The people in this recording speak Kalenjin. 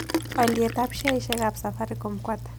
Alyetap sheaisiekap safaricom ko ata